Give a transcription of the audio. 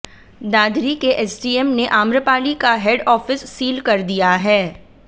दादरी के एसडीएम ने आम्रपाली का हेड ऑफिस सील कर दिया है